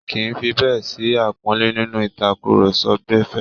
Kìí fi bẹ́ẹ̀ sí àpọ́nlé nínú ìtàkúrọsọ gbẹ̀fẹ́